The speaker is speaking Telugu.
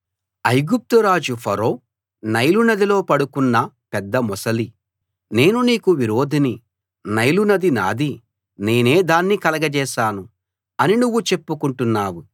ఐగుప్తు రాజు ఫరో నైలునదిలో పడుకున్న పెద్దమొసలీ నేను నీకు విరోధిని నైలునది నాది నేనే దాన్ని కలగచేశాను అని నువ్వు చెప్పుకుంటున్నావు